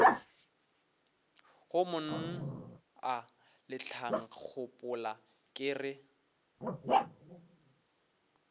go mna letlankgopola ke re